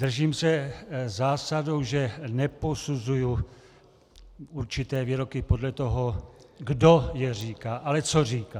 Držím se zásady, že neposuzuji určité výroky podle toho, kdo je říká, ale co říká.